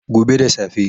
Gobe da safe